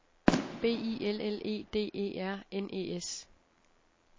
B I L L E D E R N E S